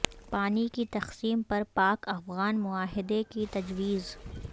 پانی کی تقسیم پر پاک افغان معاہدے کی تجویز